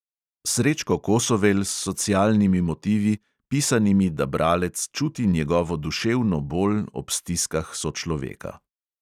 Srečko kosovel s socialnimi motivi, pisanimi, da bralec čuti njegovo duševno bol ob stiskah sočloveka.